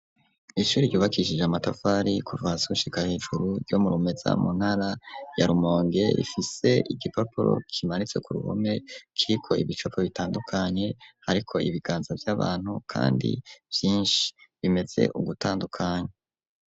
Ishuri ryubakishije amatafari kuva hasi gushika hejuru ,yo murumeza mu ntara ya rumonge, ifise igipapuro kimanitse ku ruhome kiriko ibicapo bitandukanye, ariko ibiganza vy'abantu kandi vyinshi bimeze ugutandukanye.